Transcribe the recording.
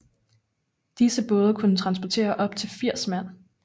Disse både kunne transportere op til 80 mand